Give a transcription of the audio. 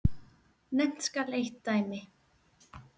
Nefnt skal eitt dæmi.